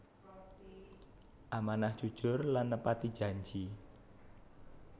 Amanah Jujur lan nepati janji